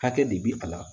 Hakɛ de bi a la